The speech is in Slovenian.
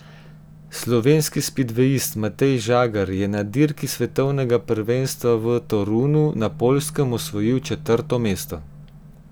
Slovenski spidvejist Matej Žagar je na dirki svetovnega prvenstva v Torunu na Poljskem osvojil četrto mesto.